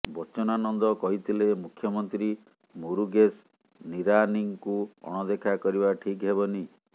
ବଚ୍ଚନାନନ୍ଦ କହିଥିଲେ ମୁଖ୍ୟମନ୍ତ୍ରୀ ମୁରୁଗେଶ ନିରାନୀଙ୍କୁ ଅଣଦେଖା କରିବା ଠିକ୍ ହେବନି